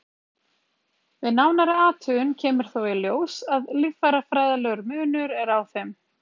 við nánari athugun kemur þó í ljós að líffærafræðilegur munur er á þeim